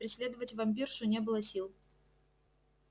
преследовать вампиршу не было сил